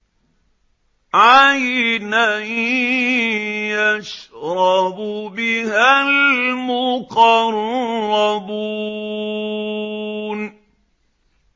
عَيْنًا يَشْرَبُ بِهَا الْمُقَرَّبُونَ